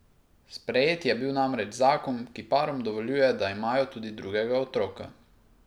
Sprejet je bil namreč zakon, ki parom dovoljuje, da imajo tudi drugega otroka.